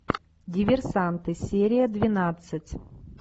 диверсанты серия двенадцать